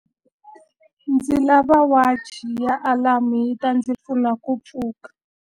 Ndzi lava wachi ya alamu yi ta ndzi pfuna ku pfuka.